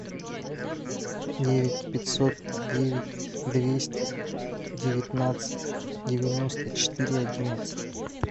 девять пятьсот девять двести девятнадцать девяносто четыре одиннадцать